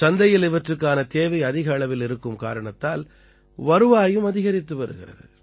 சந்தையில் இவற்றுக்கான தேவை அதிக அளவில் இருக்கும் காரணத்தால் வருவாயும் அதிகரித்து வருகிறது